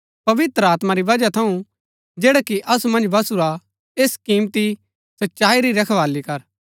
पवित्र आत्मा री बजहा थऊँ जैडा कि असु मन्ज बसुरा ऐस किमती सच्चाई री रखवाली कर